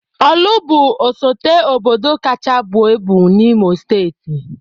Ọ̀lụ̀ bụ osote obodo kacha buo ibu n'Imo Steeti.